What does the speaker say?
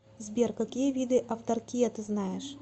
сбер какие виды автаркия ты знаешь